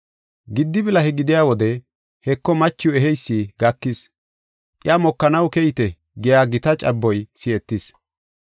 “Giddi bilahe gidiya wode, ‘Heko, machiw eheysi gakis, iya mokanaw keyite’ giya gita caboy si7etis.